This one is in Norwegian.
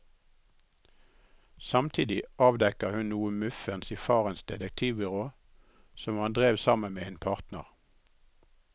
Samtidig avdekker hun noe muffens i farens detektivbyrå som han drev sammen med en partner.